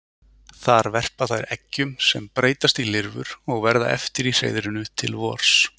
Þar verpa þær eggjum sem breytast í lirfur og verða eftir í hreiðrinu til vors.